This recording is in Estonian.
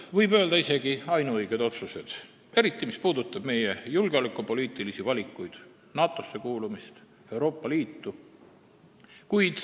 Võib öelda isegi, et ainuõigeid otsuseid, eriti mis puudutab meie julgeolekupoliitilisi valikuid, NATO-sse ja Euroopa Liitu kuulumist.